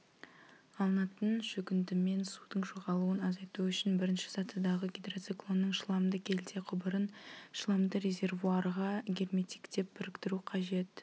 алынатын шөгіндімен судың жоғалуын азайту үшін бірінші сатыдағы гидроциклонның шламды келте құбырын шламды резервуарға герметиктеп біріктіру қажет